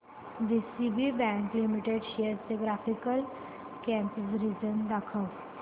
DCB bank limited shares चे graphical comparison दाखव